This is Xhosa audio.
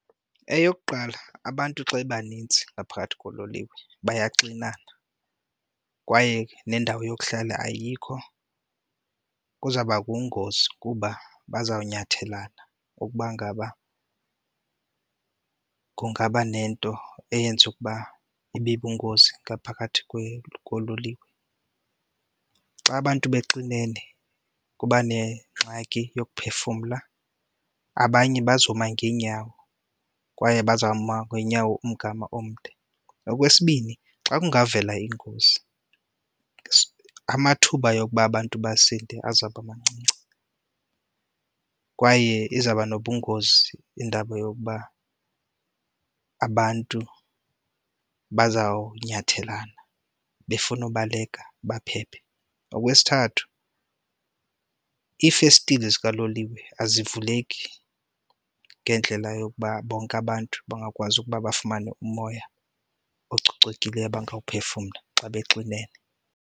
Eyokuqala abantu xa bebanintsi ngaphakathi kololiwe bayaxinana kwaye nendawo yokuhlala ayikho kuzawubakho ingozi kuba bazawunyathela ukuba ngaba kungaba nento eyenza ukuba ibe bungozi ngaphakathi kololiwe. Xa abantu bexinene kuba nengxaki yokuphefumla, abanye bazoma ngeenyawo kwaye bazoma ngeenyawo umgama omde. Okwesibini xa kungavela iingozi amathuba yokuba abantu basinde azawubamancinci kwaye izawuba nobungozi indaba yokuba abantu bazawunyathelana befuna ubaleka baphephe. Okwesithathu iifestile zikaloliwe azivuleki ngendlela yokuba bonke abantu bangakwazi ukuba bafumane umoya ococekileyo abangawuphefumla xa bexinene.